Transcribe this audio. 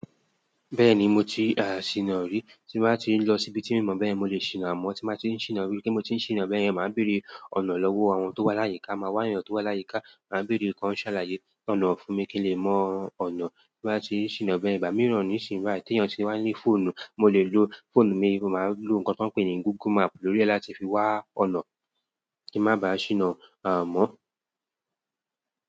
Bẹ́ẹ̀ni mo ti sina rí, tí n báa ti ń lọ síbi tí i n mọ̀ bẹ́yẹ̀n mo lè sìna àmọ́. Tí n bá ti ń sina, ripe mo ti n sina bẹ́ẹ̀ yẹn, màá béèrè ọ̀nà lọ́wọ́ àwọn tó wá láyìíká. Mo máa wá eyàn tó wá láyìíká, màá béèrè pé ó kan ṣàlàyé ọ̀nà fún mi kí n lè mọ ọ̀nà. Tí mo bá ti sina bẹ́ yen, igba mi oni sina, ti eyàn tí wà ní fóònù, mo lè lo fóònù mi, mo máa lo nǹkan tí wọ́n pè ní Google Map lórí ẹ̀ láti fi wá ọ̀nà kí ń má ba sina mọ́.